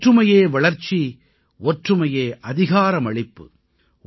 ஒற்றுமையே வளர்ச்சி ஒற்றுமையே அதிகாரமளிப்பு